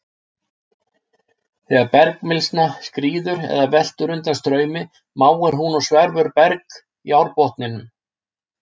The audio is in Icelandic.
Þegar bergmylsna skríður eða veltur undan straumi máir hún og sverfur berg í árbotninum.